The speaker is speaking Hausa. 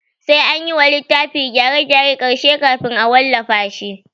Sai anyi wa littafi gyare gyaren ƙarshe kafin a wallafa shi